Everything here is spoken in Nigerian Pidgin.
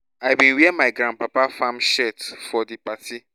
i bin wear my grandpapa farm shirt go di party